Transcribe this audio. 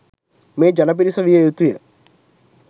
මේ ජන පිරිස විය යුතුය.